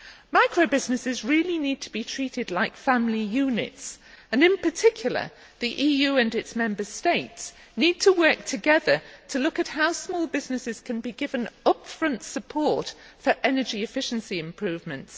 Micro businesses really need to be treated like family units and, in particular, the EU and its Member States need to work together to look at how small businesses can be given upfront support for energy efficiency improvements.